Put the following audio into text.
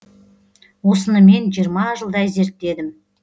осыны мен жиырма жылдай зерттедім